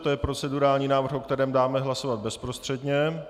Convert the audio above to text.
To je procedurální návrh, o kterém dáme hlasovat bezprostředně.